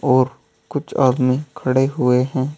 और कुछ आदमी खड़े हुए हैं।